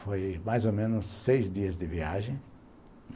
Foi mais ou menos seis dias de viagem.